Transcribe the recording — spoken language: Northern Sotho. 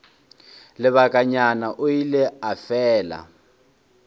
lebakanyana o ile a fela